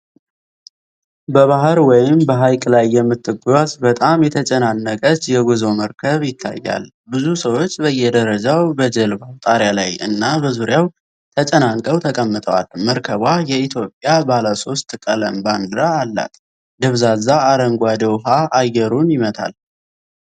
በባህር ወይም በሐይቅ ላይ የምትጓዝ በጣም የተጨናነቀች የጉዞ መርከብ ይታያል። ብዙ ሰዎች በየደረጃው፣ በጀልባው ጣሪያ ላይ እና በዙሪያው ተጨናንቀው ተቀምጠዋል። መርከቧ የኢትዮጵያ ባለ ሶስት ቀለም ባንዲራ አላት። ደብዛዛ አረንጓዴ ውሃ አየሩን ይመታል።